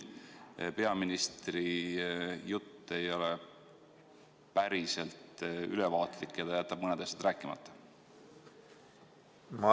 Või peaministri jutt ei ole päriselt ülevaatlik ja ta jätab mõned asjad rääkimata?